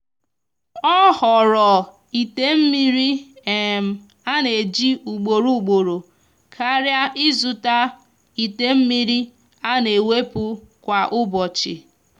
ọ họọrọ ite mmiri um ana eji ugboro ugboro karia izuta ite mmiri ana ewepu kwa ụbọchi